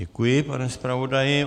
Děkuji, pane zpravodaji.